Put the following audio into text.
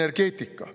Energeetika.